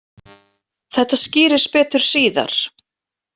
Þetta skýrist betur síðar.